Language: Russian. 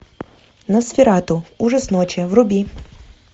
носферату ужас ночи вруби